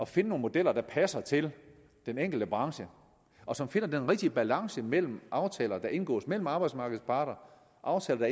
finde nogle modeller der passer til den enkelte branche og som finder den rigtige balance mellem aftaler der indgås mellem arbejdsmarkedets parter aftaler